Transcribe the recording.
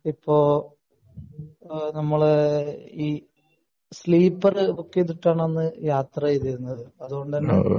ഇപ്പൊ നമ്മൾ sleeper book ചെയ്തിട്ടാണ് അന്ന് യാത്ര ചെയ്തിരുന്നത് അതുകൊണ്ട് തന്നെ